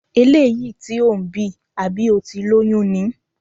Eléyìí tí ò ń bì, àbí o ti lóyún ni?